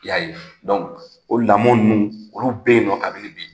Y'a ye o lamɔ ninnu olu bɛ yen kabini bi